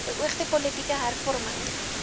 beoogde politieke hervorming